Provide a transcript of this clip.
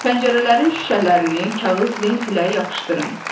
Pəncərələrin şüşələrini kağız lent ilə yapışdırın.